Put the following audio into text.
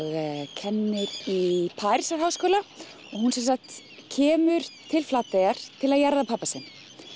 kennir í Parísarháskóla og hún sem sagt kemur til Flateyjar til þess að jarða pabba sinn